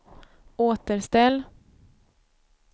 återställ